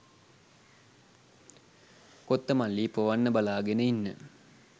කොත්තමල්ලි පොවන්න බලාගෙන ඉන්න